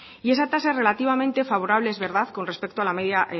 y esa tasa relativamente favorable es verdad con respecto a la media